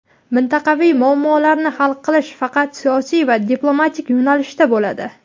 mintaqaviy muammolarni hal qilish faqat siyosiy va diplomatik yo‘nalishda bo‘ladi.